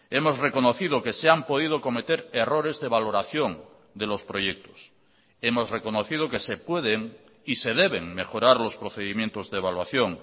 hemos reconocido que se han podido cometer errores de valoración de los proyectos hemos reconocido que se pueden y se deben mejorar los procedimientos de evaluación